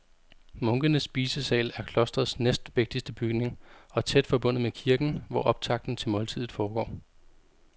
Munkenes spisesal er klostrets næstvigtigste bygning og tæt forbundet med kirken, hvor optakten til måltidet foregår.